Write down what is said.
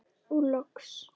Og loks.